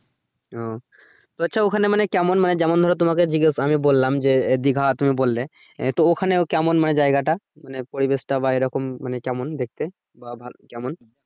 ও আচ্ছা ওখানে মানে কেমন মানে যেমন ধরো তোমাকে জিজ্ঞেসা আমি বললাম যে দিঘা তুমি বললে আহ তো ওখানেও কেমন মানে জায়গা টা মানে পরিবেশ টা বা এরকম কেমন দেখতে বা কেমন